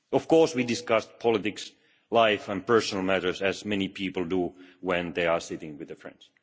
Of course, we discussed politics, life and personal matters, as many people do when they are sitting with a friend.